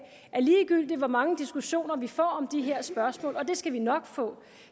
ligegyldigt hvor mange diskussioner vi får om de her spørgsmål og det skal vi nok få